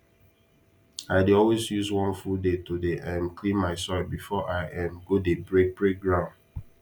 i dey always use one full day to dey um clean my soil before i um go dey break break ground